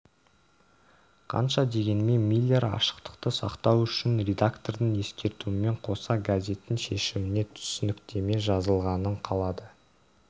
қанша дегенмен миллер ашықтықты сақтау үшін редактордың ескертуімен қоса газеттің шешіміне түсініктеме жазылғанын қалады